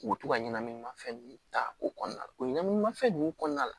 U bɛ to ka ɲɛnaminimafɛn ninnu ta o kɔnɔna la o ɲɛnama fɛn ninnu kɔnɔna la